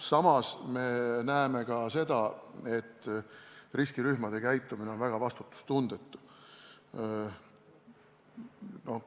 Samas me näeme ka seda, et riskirühmade käitumine on väga vastutustundetu.